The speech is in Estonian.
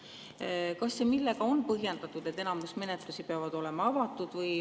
Kas ja millega on põhjendatud, et enamik menetlusi peab olema avatud?